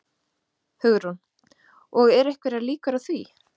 Hugrún: Og eru einhverjar líkur á því?